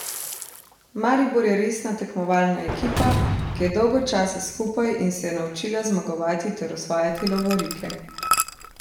Maribor je resna tekmovalna ekipa, ki je dolgo časa skupaj in se je naučila zmagovati ter osvajati lovorike.